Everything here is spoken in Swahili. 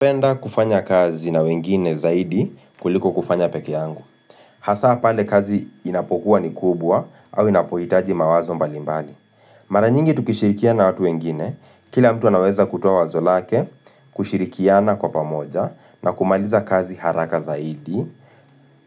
Hupenda kufanya kazi na wengine zaidi kuliko kufanya peke yangu. Hasa pale kazi inapokuwa ni kubwa au inapohitaji mawazo mbalimbali. Mara nyingi tukishirikiana na watu wengine, kila mtu anaweza kutoa wazo lake, kushirikiana kwa pamoja, na kumaliza kazi haraka zaidi.